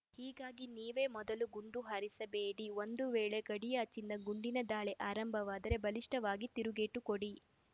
ಹೀಗಾಗಿ ನೀವೇ ಮೊದಲು ಗುಂಡು ಹಾರಿಸಬೇಡಿ ಒಂದು ವೇಳೆ ಗಡಿಯಾಚೆಯಿಂದ ಗುಂಡಿನ ದಾಳಿ ಆರಂಭವಾದರೆ ಬಲಿಷ್ಠವಾಗಿ ತಿರುಗೇಟು ಕೊಡಿ